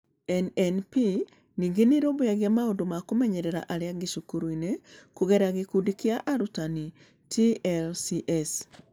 NNP ningĩ nĩ ĩrũmbũyagia maũndũ ma kũmenyeria arĩa angĩ cukuru-inĩ, kũgerera gĩkundi kĩa arutani (TLCs).